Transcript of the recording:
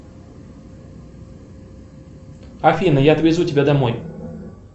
афина я отвезу тебя домой